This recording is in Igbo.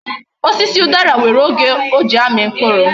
Osisi udara nwere oge o ji ami mkpuru